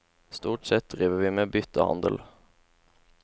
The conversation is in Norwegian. Stort sett driver vi med byttehandel.